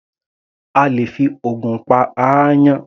A lè fi ògùn pa aáyán.